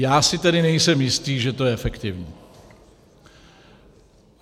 Já si tedy nejsem jistý, že to je efektivní.